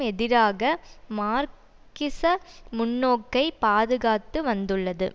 எதிராக மார்க்கிச முன்னோக்கைப் பாதுகாத்து வந்துள்ளது